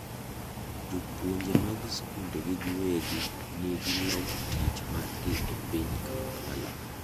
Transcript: Jopuonje mag skunde ji giwegi ni gi log tich mar gi e piny Kampala.